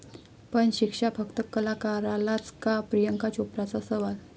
...पण शिक्षा फक्त कलाकारालाच का?, प्रियांका चोप्राचा सवाल